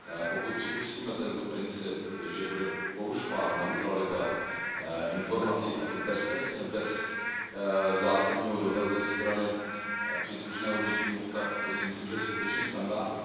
Pokud připustíme tento princip, že bude porušována neutralita informací, a to beztrestně, bez zásadního dohledu ze strany příslušného GŘ MOVE, tak si myslím, že to je skutečně skandální.